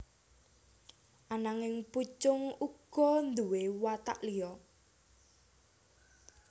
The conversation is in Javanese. Ananging Pucung uga nduwé watak liya